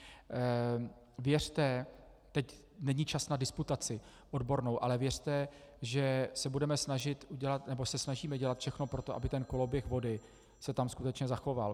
Věřte, teď není čas na disputaci odbornou, ale věřte, že se budeme snažit udělat nebo se snažíme udělat všechno pro to, aby ten koloběh vody se tam skutečně zachoval.